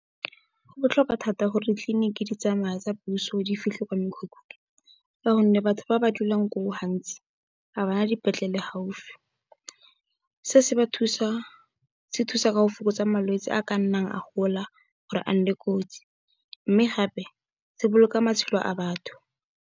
Go botlhokwa thata gore ditliliniki di tsamaye tsa puso, di fitlhe kwa mekhukhung ka gonne, batho ba ba dulang koo gantsi ga bana dipetlele gaufi. Se se thusa ka go fokotsa malwetsi a ka nnang a gola gore a nne kotsi mme gape, se boloka matshelo a batho.